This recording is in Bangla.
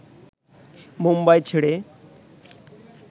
মুম্বাই ছেড়ে